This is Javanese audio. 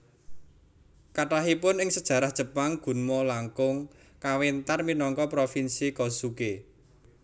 Kathahipun ing sejarah Jepang Gunma langkung kawéntar minangka Propinsi Kozuke